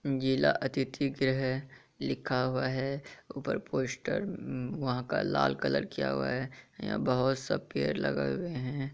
जिला अतिथि गृह लिखा हुआ है ऊपर पोस्टर वहाँ का लाल कलर किया हुआ है यहाँ बहुत सा पेड़ लगे हुए है।